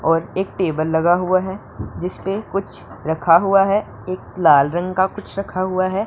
और एक टेबल लगा हुआ हैं जिसने कुछ रखा हुआ हैं एक लाल रंग का कुछ रखा हुआ हैं।